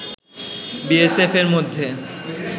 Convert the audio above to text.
বিএসএফ-এর মধ্যে